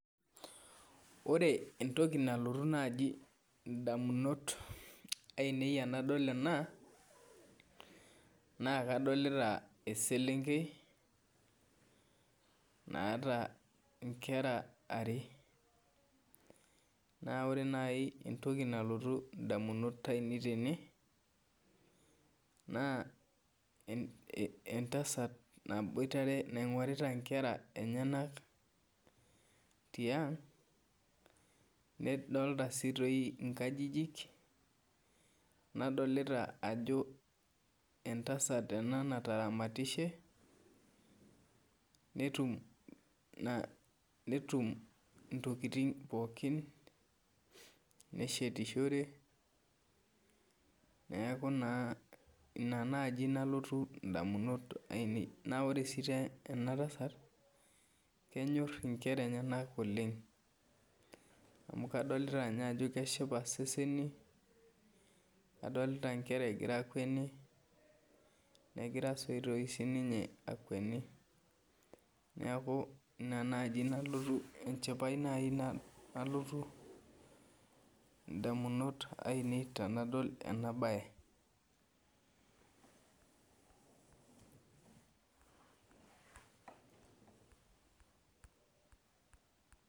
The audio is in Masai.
Ore entoki nalotu ndamunot ainei tanadol ena na kadolita eselenkei naata nkera aare na ore nai entoki nalotu ndamunot ainei tene na entasat naingorita nkera enyenak tiang nadolta si nkajijik nadolta ajo entasat ena nataramatishe netum na ntokitin pookin neshetishore neaku ina nai nalotu ndamunot ainei na ore si enatasat kenyor nkera enyenak oleng amu kadolta ajo keshipa seseni kadolta nkera egira akweni negira sinye akweni neaku ina nai nalotu, enchipae nai nalotu ndamunot ainei tenadol enabae.